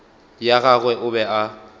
ya gagwe o be a